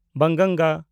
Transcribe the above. ᱵᱟᱝᱜᱟᱝᱜᱟ